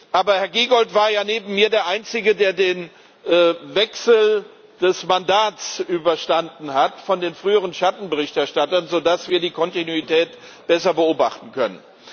Aber Herr Giegold war ja neben mir der Einzige, der den Wechsel des Mandats überstanden hat von den früheren Schattenberichterstattern, sodass wir die Kontinuität besser beobachten können.